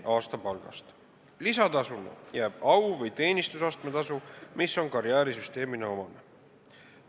Lisaks jääb au- või teenistusastme lisatasu, mis on karjäärisüsteemile omane.